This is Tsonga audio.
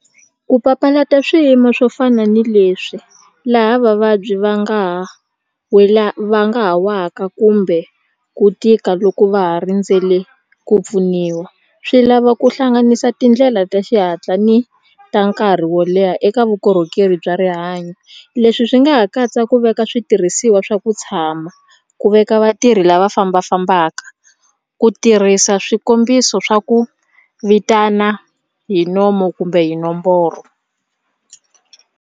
Ku papalata swiyimo swo fana ni leswi laha vavabyi va nga ha wela va nga ha waka kumbe ku tika loko va ha rindzele ku pfuniwa swi lava ku hlanganisa tindlela ta xihatla ni ta nkarhi wo leha eka vukorhokeri bya rihanyo leswi swi nga ha katsa ku veka switirhisiwa swa ku tshama ku veka vatirhi lava fambafambaka ku tirhisa swikombiso swa ku vitana hi nomu kumbe hi nomboro.